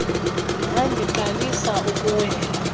mhambi qalisa ukuwela